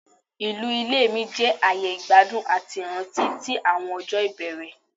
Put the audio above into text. Ilu ile mi jẹ aaye igbadun ati iranti ti awọn ọjọ ibẹrẹ